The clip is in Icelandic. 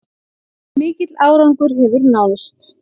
Mikill árangur hefur náðst